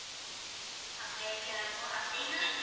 அப்படிய sir அப்போ அப்படின்னா